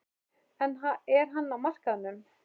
Er hann á markaðnum?